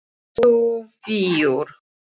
Yxu víur